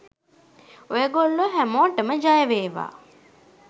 ඔය ගොල්ලෝ හැමෝටම ජය වේවා!